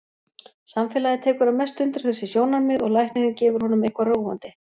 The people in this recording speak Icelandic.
Samfélagið tekur að mestu undir þessi sjónarmið og læknirinn gefur honum eitthvað róandi.